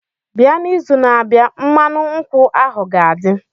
bia n'izu na-abịa, mmanụ nkwụ ahụ ga-adị.